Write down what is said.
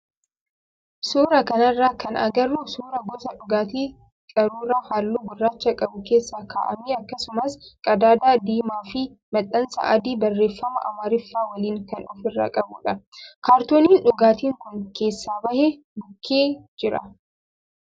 Suuraa kanarraa kan agarru suuraa gosa dhugaatii qaruuraa halluu gurraacha qabu keessa kaa'amee akkasumas qadaada diimaa fi maxxansa adii barreeffama amaariffaa waliin kan ofirraa qabudha. Kaartooniin dhugaatiin kun keessaa bahe bukkee jira.